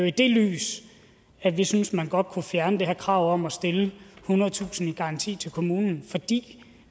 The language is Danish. i det lys at vi synes at man godt kunne fjerne det her krav om at stille ethundredetusind kroner i garanti til kommunen fordi